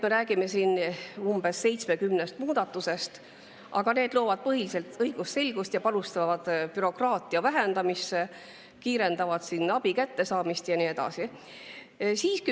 Me räägime siin küll umbes 70 muudatusest, aga need loovad põhiliselt õigusselgust, panustavad bürokraatia vähendamisse, kiirendavad abi kättesaamist ja nii edasi.